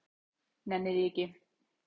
Nenni því ekki.